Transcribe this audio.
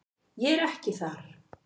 Ég er ekki þar.